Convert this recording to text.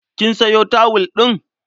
Kin sayo tawul ɗin?